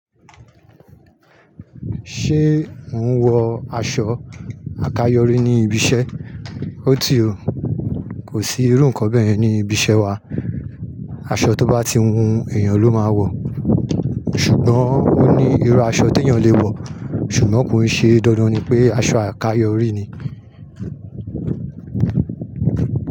Ṣé ò ń wọ aṣọ àkayòrí ní ibi iṣẹ́? Ó ti o, kò sí irú nǹkan bẹ́ yẹ̀n ni ibi iṣẹ́ wa. Aṣọ tó bá ti wù èèyàn ló máa wọ̀. Ṣùgbọ́n ó ní irú aṣọ tí èèyàn le wọ̀, ṣùgbọ́n kò ń ṣe dandan ni pé aṣọ àkayòrí ni.